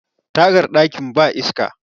tagar dakin ba iska